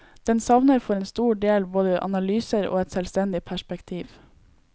Den savner for en stor del både analyser og et selvstendig perspektiv.